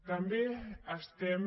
també estem